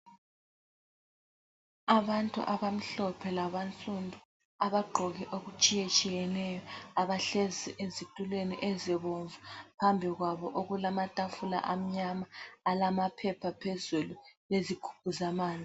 Abantu abamhlophe laba nsundu abagqoke okutshiyatshiyeneyo, abahlezi ezitulweni ezibomvu. Phambi kwabo okulamatafula amnyama alamaphepha phezulu lezigubhu zamanzi.